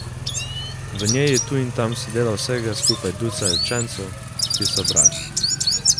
V njej je tu in tam sedelo vsega skupaj ducat učencev, ki so brali.